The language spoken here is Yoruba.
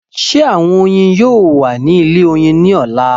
Ṣé àwọn oyin yóò wà nínú ilé oyin ní ọ̀la?